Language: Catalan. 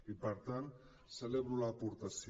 i per tant celebro l’aportació